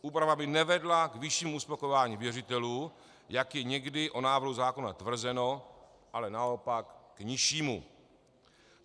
Úprava by nevedla k vyššímu uspokojování věřitelů, jak je někdy o návrhu zákona tvrzeno, ale naopak k nižšímu.